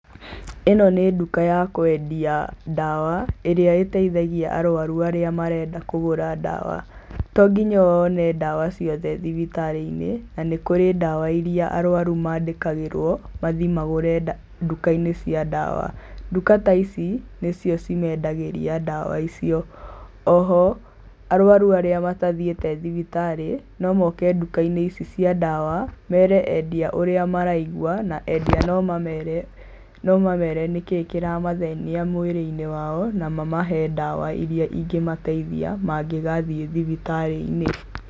Ĩno nĩ nduka ya kwendia ndawa, ĩrĩa ĩteithagia aruaru arĩa marenda kũgũra ndawa, to ngĩnya wone ndawa ciothe thibitarĩ-inĩ, na nĩ kũrĩ ndawa iria aruaru mandikagĩrwo mathiĩ magure nduka-inĩ cia ndawa. Nduka ta ici, nĩcio cimendagĩria ndawa icio, oho arũaru arĩa matathiĩte thibitarĩ no moke nduka-inĩ ici cĩa ndawa, merĩ endia ũrĩa maraigwa na endia no mamere, no mamere nĩkĩ kĩramathĩnia mwĩrĩ-inĩ wao, na mamahe ndawa iria ingĩmateithia mangĩgathiĩ thibitarĩ-inĩ.